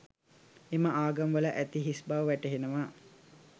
එම ආගම වල ඇති හිස් බව වැටහෙනවා.